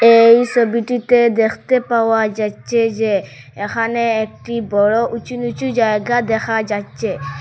এই ছবিটিতে দেখতে পাওয়া যাচ্চে যে এখানে একটি বড়ো উঁচু নীচু জায়গা দেখা যাচ্চে ।